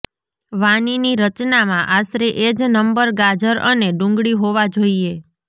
વાનીની રચનામાં આશરે એ જ નંબર ગાજર અને ડુંગળી હોવા જોઈએ